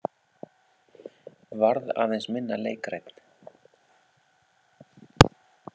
Varð aðeins minna leikrænn.